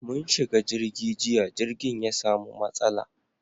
Mun shiga jirgi jiya, jirgin ya samu matsala